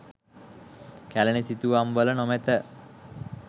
කැලණි සිතුවම් වල නොමැත.